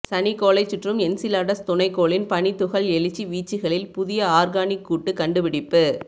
சனிக்கோளைச் சுற்றும் என்சிலாடஸ் துணைக் கோளின் பனித்துகள் எழுச்சி வீச்சுகளில் புதிய ஆர்கானிக்கூட்டு கண்டுபிடிப்பு